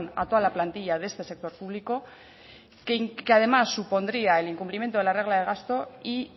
a toda la plantilla de este sector publico que además supondría el incumplimiento de la regla de gasto y